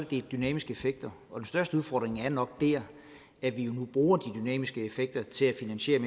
de dynamiske effekter og den største udfordring er nok at vi nu bruger de dynamiske effekter til at finansiere